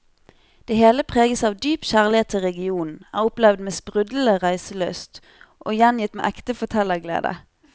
Det hele preges av dyp kjærlighet til regionen, er opplevd med sprudlende reiselyst og gjengitt med ekte fortellerglede.